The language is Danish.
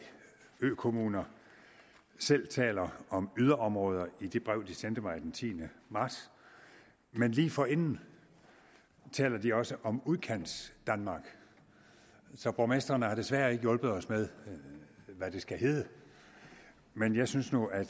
økommuner selv taler om yderområder i det brev de sendte mig den tiende marts men lige forinden taler de også om udkantsdanmark så borgmestrene har desværre ikke hjulpet os med hvad det skal hedde men jeg synes nu at